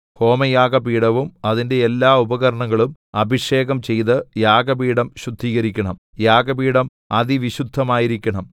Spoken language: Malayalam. ഹോമയാഗപീഠവും അതിന്റെ എല്ലാ ഉപകരണങ്ങളും അഭിഷേകം ചെയ്ത് യാഗപീഠം ശുദ്ധീകരിക്കണം യാഗപീഠം അതിവിശുദ്ധമായിരിക്കണം